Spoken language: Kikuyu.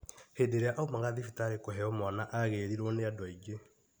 Hĩndĩ ĩrĩa aumaga thibitarĩ kũheo mwana agĩrirwo nĩ andũ aingĩ.